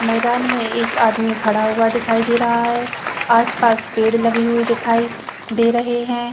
मैदान में एक आदमी खड़ा हुआ दिखाई दे रहा है आसपास पेड़ लगे हुए दिखाई दे रहे हैं।